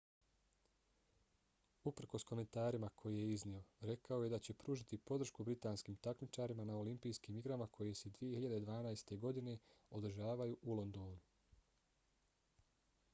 uprkos komentarima koje je iznio rekao je da će pružiti podršku britanskim takmičarima na olimpijskim igrama koje se 2012. godine održavaju u londonu